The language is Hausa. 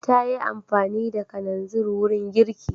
Ta yi amfani da kananzir wurin girki.